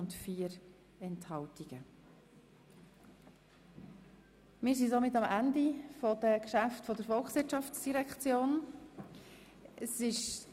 Somit sind wir am Ende der Geschäfte der Volkswirtschaftsdirektion angelangt.